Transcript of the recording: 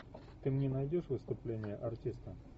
ты мне найдешь выступление артиста